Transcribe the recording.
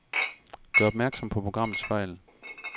Gør opmærksom på programmets fejl.